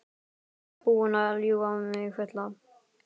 Þú ert búinn að ljúga mig fulla.